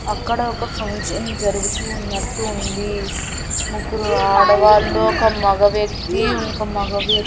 అక్కడ ఒక ఫంక్షన్ జరుగుతూ ఉన్నట్టు ఉంది. ముగ్గురు ఆడవాళ్ళు ఒక మగ వ్యక్తి ఇంక మగ వ్య --